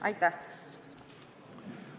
Aitäh!